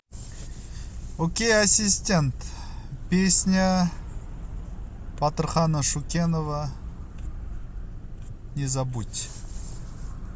окей ассистент песня батырхана шукенова не забудь